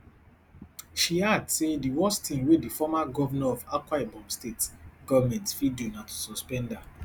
she add say di worst tin wey di former govnor of akwaibom state goment fit do na to suspend her